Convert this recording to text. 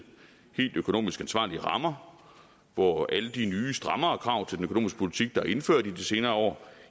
helt økonomisk ansvarlige rammer hvor alle de nye strammere krav til den økonomiske politik der er indført i de senere år